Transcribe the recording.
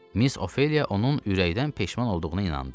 Miss Ofeliya onun ürəkdən peşman olduğuna inandı.